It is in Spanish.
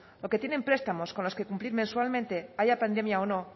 porque tienen prestamos con las que cumplir mensualmente haya pandemia o no